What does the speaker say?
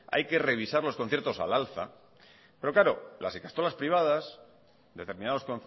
hay que revisar los conciertos al alza pero claro las ikastolas privadas determinados